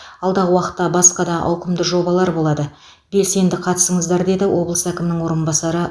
алдағы уақытта басқа да ауқымды жобалар болады белсенді қатысыңыздар деді облыс әкімінің орынбасары